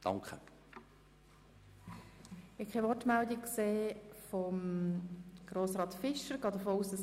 Ich habe keine Wortmeldung von Grossrat Fischer gesehen.